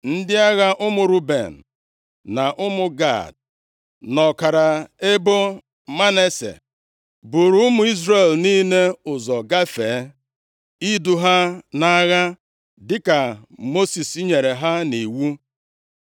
Ndị agha ụmụ Ruben, na ụmụ Gad, na ọkara ebo Manase, buuru ụmụ Izrel niile ụzọ gafee, idu ha nʼagha, dịka Mosis nyere ha nʼiwu.